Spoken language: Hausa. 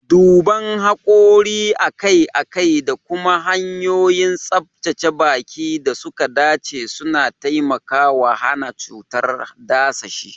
Duban hakori akai-akai da kuma hanyoyin tsabtace baki da suka dace suna taimakawa hana cutar dadashi.